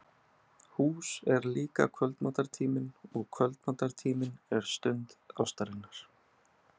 Hús er líka kvöldmatartíminn og kvöldmatartíminn er stund ástarinnar.